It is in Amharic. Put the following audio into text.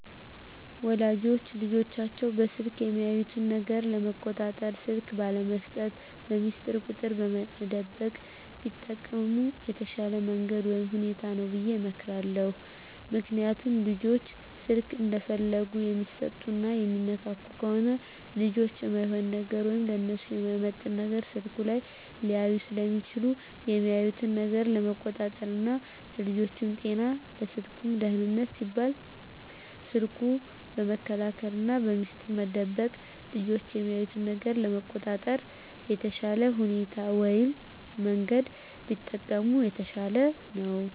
ወላጆች ልጆቻቸውን በስልክ የሚያዩት ነገር ለመቆጣጠር ስልክ ባለመስጠት፣ በሚስጥር ቁጥር መደበቅ ቢጠቀሙ የተሻለ መንገድ ወይም ሁኔታ ነው ብየ እመክራለሁ። ምክንያቱም ልጆች ስልክ እንደፈለጉ የሚሰጡና የሚነካኩ ከሆነ ልጆች እማይሆን ነገር ወይም ለነሱ የማይመጥን ነገር ስልኩ ላይ ሊያዩ ስለሚችሉ የሚያዩትን ነገር ለመቆጣጠር ና ለልጆቹም ጤና ለስልኩም ደህንነት ሲባል ስልኩን በመከልከልና በሚስጥር መደበቅ ልጆች የሚያዩትን ነገር ለመቆጣጠር የተሻለ ሁኔታ ወይም መንገድ ቢጠቀሙ የተሻለ ነው።